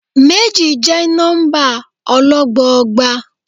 Méjì jẹ́ nọ́ḿbà ọlọ́gbọọgba.